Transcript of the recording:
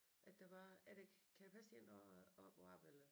At der var at kan det passe det en der op og arbejde eller